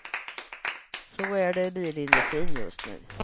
Så är det i bilindustrin just nu.